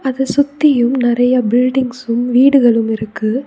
இத சுத்தியும் நெறைய பில்டிங்ஸும் வீடுகளும் இருக்கு.